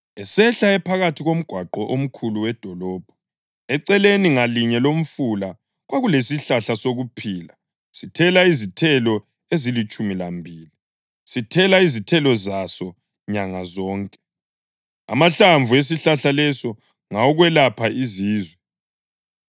esehla ephakathi komgwaqo omkhulu wedolobho. Eceleni ngalinye lomfula kwakulesihlahla sokuphila sithela izithelo ezilitshumi lambili, sithela izithelo zaso nyanga zonke. Amahlamvu esihlahla leso ngawokwelapha izizwe.